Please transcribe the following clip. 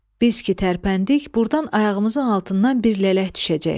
Biz ki tərpəndik, burdan ayağımızın altından bir lələk düşəcək.